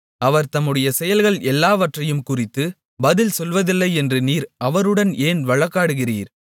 அவர் தம்முடைய செயல்கள் எல்லாவற்றையும் குறித்துக் பதில் சொல்லவில்லையென்று நீர் அவருடன் ஏன் வழக்காடுகிறீர்